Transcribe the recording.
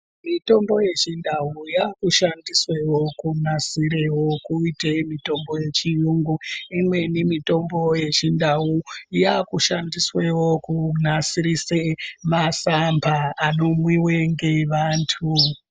Mitombo yechindau yakushandiswewo kunasire kuitewo mitombo yechiyungu. Imweni mitombo yechindau yaakushandiswe kunasirise masamba anomwiwa ngevanhu.